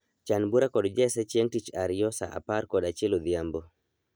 Chan bura kod Jesse chieng' tich ariyo saa apar kod achiel odhiambo